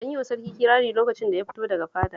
An yi wa sarkin kirari lokacin da ya fito daga fadar